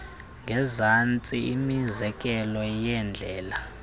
ngezantsi imizekelo yeendlela